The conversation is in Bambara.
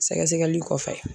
Sɛgɛsɛgɛli kɔfɛ